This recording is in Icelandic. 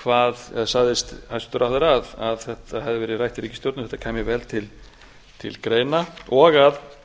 sagðist forsætisráðherra að þetta hefði verið rætt í ríkisstjórninni og þetta kæmi vel til greina og